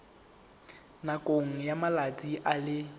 nakong ya malatsi a le